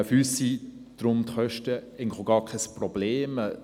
Deshalb sind die Kosten für uns eigentlich auch gar kein Problem.